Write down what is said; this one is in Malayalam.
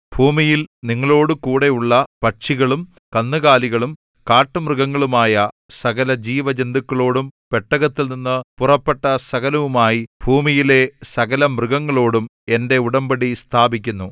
ഭൂമിയിൽ നിങ്ങളോടുകൂടെ ഉള്ള പക്ഷികളും കന്നുകാലികളും കാട്ടുമൃഗങ്ങളുമായ സകലജീവജന്തുക്കളോടും പെട്ടകത്തിൽനിന്നു പുറപ്പെട്ട സകലവുമായി ഭൂമിയിലെ സകലമൃഗങ്ങളോടും എന്റെ ഉടമ്പടി സ്ഥാപിക്കുന്നു